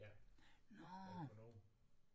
Ja jeg er økonom